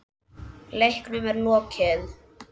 Leiknum er lokið.